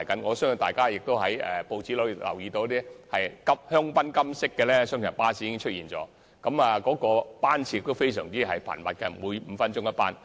我相信大家從報章可看到，香檳金色的雙層巴士會投入服務，而且班次非常頻密，每5分鐘一班。